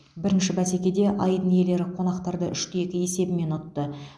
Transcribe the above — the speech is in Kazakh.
бірінші бәсекеде айдын иелері қонақтарды үш те екі есебімен ұтты